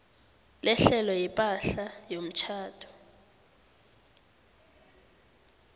lehlelo lepahla yomtjhado